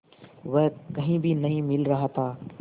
वह कहीं भी नहीं मिल रहा था